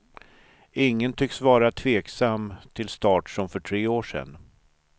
Ingen tycks vara tveksam till start, som för tre år sen.